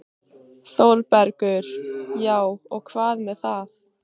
ÞÓRBERGUR: Já, og hvað með það?